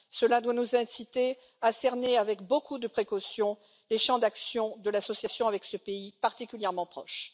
Cela doit nous inciter à cerner avec beaucoup de précautions les champs d'action de l'association avec ce pays particulièrement proche.